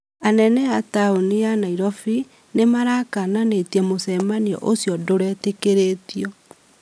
Anene a taunĩ ya Nairobi nĩmarakananĩtĩe mũcemanĩo ũcĩo ndũretĩkirĩtio